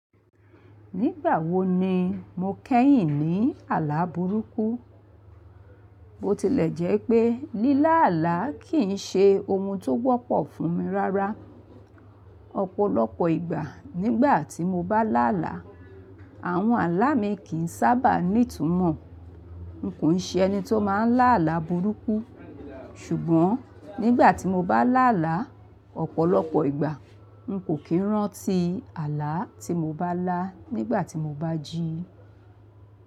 Nígbà wo ni mo kẹ́yìn ní àlá burúkú? Bo tilẹ̀ jẹ́ pé lílá àlá kì í ṣe ohun tó wọ́pọ̀ fún mi rárá. Ọ̀pọ̀lọpọ̀ ìgbà, nígbà tí mo bá lá àlá, àwọn àlá mi kì í sábà ní ìtumọ̀. N kò ṣe ẹni tó má n lá àlá burúkú, ṣùgbọ́n nígbà tí mo bá lá àlá, ọ̀pọ̀lọpọ̀ ìgbà, n kò kí rántí àlá tí mo bá lá nígbà tí mo bá jí.